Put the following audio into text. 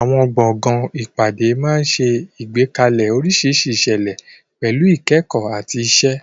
Àwọn gbọ̀ngàn ìpàdé máa ń ṣe àgbékalẹ̀ oríṣiríṣi ìṣẹ̀lẹ̀, pẹ̀lú ìkẹ́kọ̀ọ́ àti ìṣe.